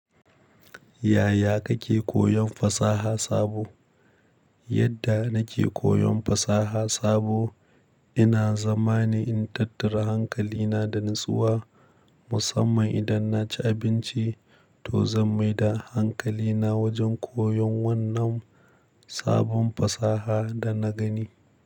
Yaya kake koyon fasaha sabo? Yadda nake koyon fasaha sabo, ina zama ne in tattara hankalina da natsuwa, musamman idan na ci abinci toh zan mai da hankalina wajen koyon wannan sabon fasaha da na gani.